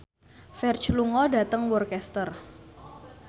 Ferdge lunga dhateng Worcester